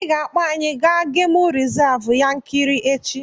I ga-akpọ anyị aga gemụ rizavụ Yankari echi!